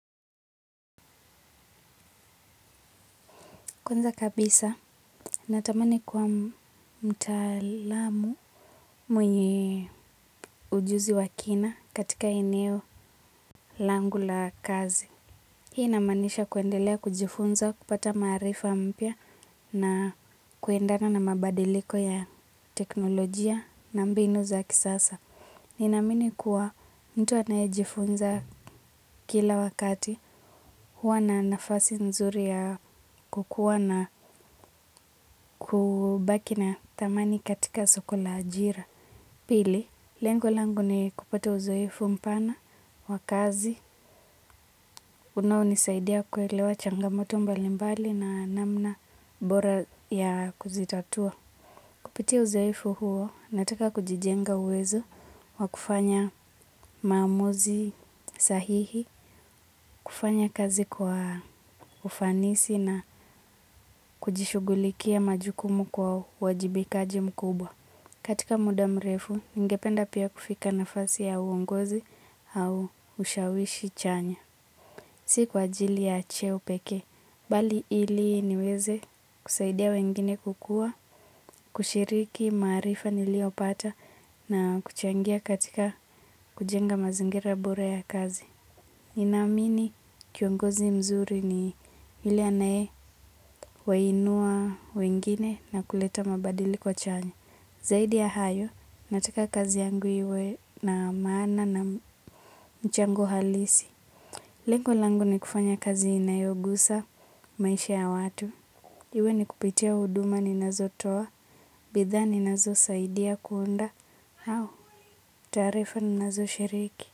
Kwanza kabisa, natamani kuwa mtaalamu mwenye ujuzi wa kina katika eneo langu la kazi. Hii inamaanisha kuendelea kujifunza kupata maarifa mpya na kuendana na mabadiliko ya teknologia na mbinu za kisasa. Ninaamini kuwa mtu anayejifunza kila wakati huwa na nafasi nzuri ya kukua na kubaki na thamani katika soko la ajira. Pili, lengo langu ni kupata uzoefu mpana, wa kazi, unaonisaidia kuelewa changamoto mbalimbali na namna bora ya kuzitatua. Kupitia uzoefu huo, nataka kujijenga uwezo wa kufanya maamuzi sahihi, kufanya kazi kwa ufanisi na kujishughulikia majukumu kwa uwajibikaji mkubwa. Katika muda mrefu, ningependa pia kufika nafasi ya uongozi au ushawishi chanya. Si kwa ajili ya cheo peke, bali ili niweze kusaidia wengine kukua, kushiriki maarifa niliyopata na kuchangia katika kujenga mazingira bora ya kazi. Ninaamini kiongozi mzuri ni yule anayewainua wengine na kuleta mabadiliko chanya. Zaidi ya hayo, nataka kazi yangu iwe na maana na mchango halisi. Lengo langu ni kufanya kazi inayogusa maisha ya watu. Iwe ni kupitia huduma ninazotoa, bidhaa ninazosaidia kuunda, au taarifa ninazoshiriki.